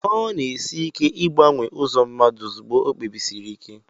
ọ na-esi ike ịgbanwe ụzọ mmadụ ozugbo o kpebisiri ike